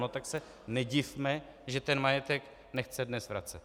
No tak se nedivme, že ten majetek nechce dnes vracet.